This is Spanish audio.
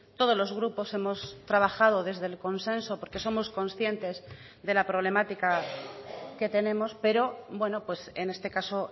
todos los grupos hemos trabajado desde el consenso porque somos conscientes de la problemática que tenemos pero bueno en este caso